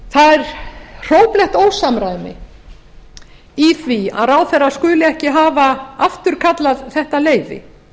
það er hróplegt ósamræmi í því að ráðherra skuli ekki hafa afturkallað þetta leyfi